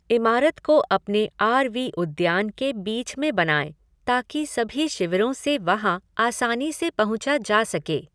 इमारत को अपने आर वी उद्यान के बीच में बनाएं ताकि सभी शिविरों से वहाँ आसानी से पहुँचा जा सके।